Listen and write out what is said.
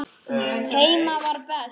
Heima var best.